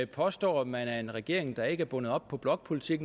påstår at man er en regering der ikke er bundet op på blokpolitik